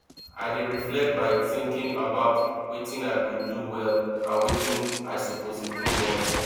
i dey reflect by thinking about wetin i go do well and wetin i suppose improve on